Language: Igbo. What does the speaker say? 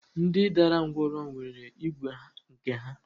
Ndị dara ńgwọrọ nwere igwe nke ha?